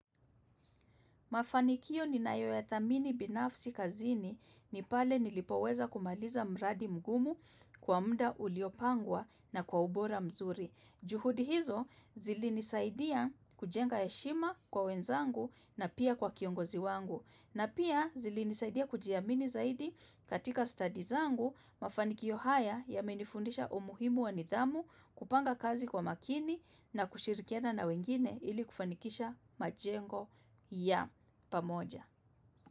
Mafanikio ninayoyadhamini binafsi kazini ni pale nilipoweza kumaliza mradi mgumu kwa muda uliopangwa na kwa ubora mzuri. Juhudi hizo zilinisaidia kujenga heshima kwa wenzangu na pia kwa kiongozi wangu. Na pia, zilinisaidia kujiamini zaidi katika stadi zangu. Mafanikio haya yamenifundisha umuhimu wa nidhamu, kupanga kazi kwa makini, na kushirikiana na wengine ili kufanikisha majengo ya pamoja.